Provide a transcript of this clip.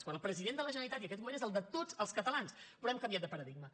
quan el president de la generalitat i aquest govern és el de tots els catalans però hem canviat de paradigma